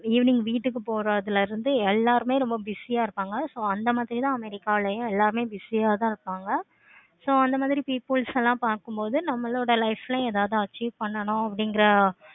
evening வீட்டுக்கு போறதுல இருந்து எல்லாருமே ரொம்ப busy ஆஹ் இருப்பாங்க. so அந்த மாதிரி தான் america ளையும் எல்லாருமே busy ஆஹ் தான் இருப்பாங்க. so அந்த மாதிரி peoples எல்லாம் பார்க்கும் போது நம்மளோட life ளையும் எதாவது achieve பண்ணும் போது அப்படிங்கிற